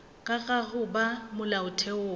ka ga go ba molaotheong